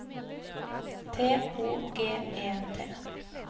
T O G E T